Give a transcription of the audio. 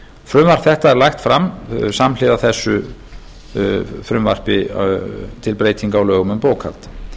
frumvarp þetta er lagt fram samhliða frumvarpi til breytinga á lögum um bókhald